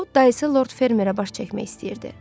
O, dayısı Lord Fermerə baş çəkmək istəyirdi.